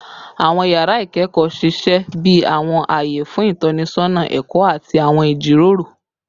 Awọn yara ikẹkọ ṣiṣẹ bi awọn aye fun itọnisọna ẹkọ ati awọn ijiroro